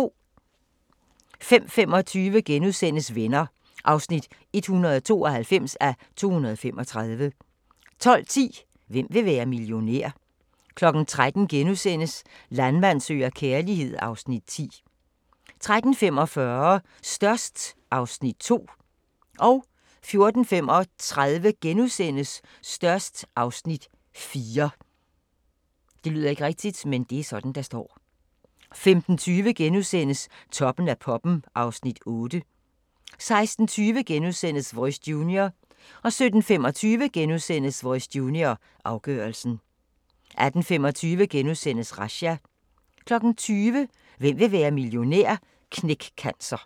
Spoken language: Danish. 05:25: Venner (192:235)* 12:10: Hvem vil være millionær? 13:00: Landmand søger kærlighed (Afs. 10)* 13:45: Størst (Afs. 2) 14:35: Størst (Afs. 4)* 15:20: Toppen af poppen (Afs. 8)* 16:20: Voice Junior * 17:25: Voice Junior – afgørelsen * 18:25: Razzia * 20:00: Hvem vil være millionær? – Knæk Cancer